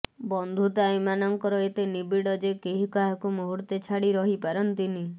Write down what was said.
ବନ୍ଧୁତା ଏମାନଙ୍କର ଏତେ ନିବିଡ଼ ଯେ କେହି କାହାକୁ ମୁହୁର୍ତ୍ତେ ଛାଡ଼ି ରହି ପାରନ୍ତିନି